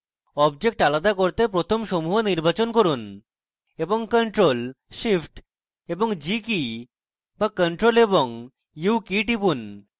objects আলাদা করতে প্রথম সমূহ নির্বাচন করুন এবং ctrl + shift + g keys to ctrl + u keys টিপুন